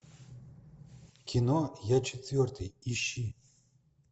кино я четвертый ищи